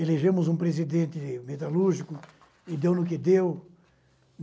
Elegemos um presidente metalúrgico e deu no que deu.